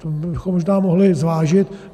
To bychom možná mohli zvážit.